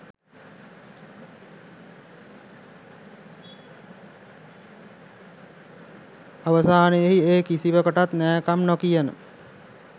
අවසානයෙහි ඒ කිසිවකටත් නෑකම් නොකියන